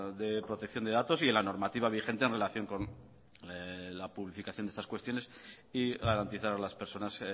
de protección de datos y en la normativa vigente en relación con la publicitación de estas cuestiones y garantizar a las personas